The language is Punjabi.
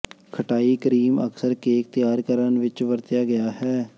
ਖਟਾਈ ਕਰੀਮ ਅਕਸਰ ਕੇਕ ਤਿਆਰ ਕਰਨ ਵਿੱਚ ਵਰਤਿਆ ਗਿਆ ਹੈ